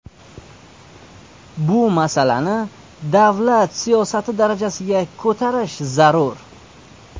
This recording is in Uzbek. Bu masalani davlat siyosati darajasiga ko‘tarish zarur.